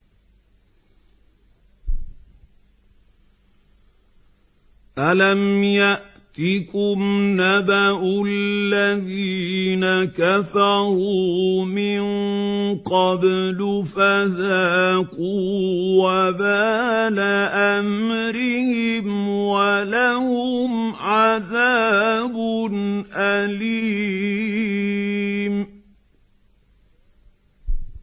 أَلَمْ يَأْتِكُمْ نَبَأُ الَّذِينَ كَفَرُوا مِن قَبْلُ فَذَاقُوا وَبَالَ أَمْرِهِمْ وَلَهُمْ عَذَابٌ أَلِيمٌ